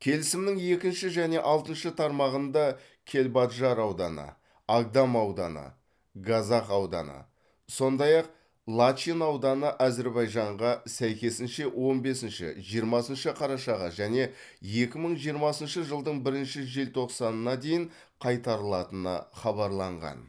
келісімнің екінші және алтыншы тармағында кельбаджар ауданы агдам ауданы газах ауданы сондай ақ лачин ауданы әзербайжанға сәйкесінше он бесінші жиырмасыншы қарашаға және екі мың жиырмасыншы жылдың бірінші желтоқсанына дейін қайтарылатыны хабарланған